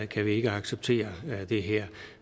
kan vi ikke acceptere det her